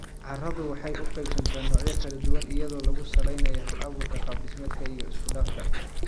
Carradu waxay u qaybsantaa noocyo kala duwan iyadoo lagu saleynayo halabuurka, qaab-dhismeedka iyo isku-dhafka.